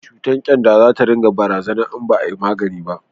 cutar kyanda za ta ringa bazawa in ba a yi maganinsa ba